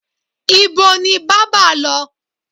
Ibo ni bábà lọ?